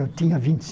Eu tinha vinte e